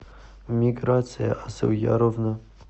миграция асылъяровна